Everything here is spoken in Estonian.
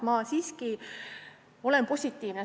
Ma olen siiski positiivne.